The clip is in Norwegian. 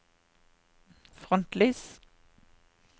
frontlys